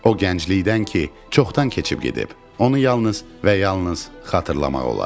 O gənclikdən ki, çoxdan keçib gedib, onu yalnız və yalnız xatırlamaq olar.